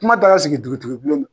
Kuma taara sigi dugudigibulon na.